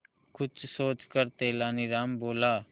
कुछ सोचकर तेनालीराम बोला